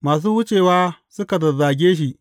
Masu wucewa suka zazzage shi.